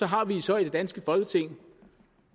har vi så i det danske folketing